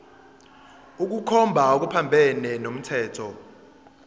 ukukhomba okuphambene nomthetho